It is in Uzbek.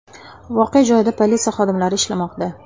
Voqea joyida politsiya xodimlari ishlamoqda.